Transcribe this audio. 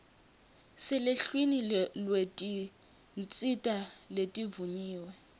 seluhlwini lwetinsita letivunyiwe